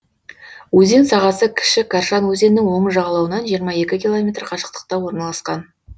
өзен сағасы кіші каршан өзенінің оң жағалауынан жиырма екі километр қашықтықта орналасқан